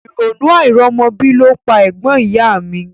Ìrònú àìrọ́mọbí ló pa ẹ̀gbọ́n ìyá a mi